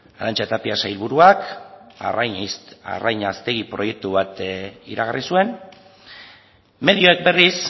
arantxa tapia sailburuak arrain haztegi proiektu bat iragarri zuen medioek berriz